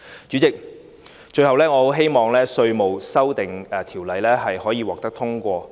主席，最後我很希望《條例草案》可以獲得通過。